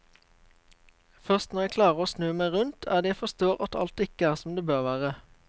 Først når jeg klarer å snu meg rundt er det jeg forstår at alt ikke er som det bør være.